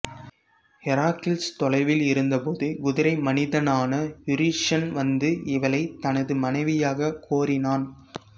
Heracles தொலைவில் இருந்தபோது குதிரை மனிதனான யூரிஷன் வந்து இவளை தனது மனைவியாகக் கோரினான்